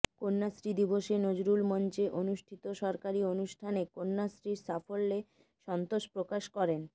কন্যাশ্রী দিবসে নজরুল মঞ্চে অনুষ্ঠিত সরকারি অনুষ্ঠানে কন্যাশ্রীর সাফল্যে সন্তোষ প্রকাশ করেন